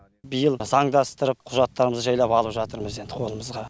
биыл заңдастырып құжаттарымызды жайлап алып жатырмыз енді қолымызға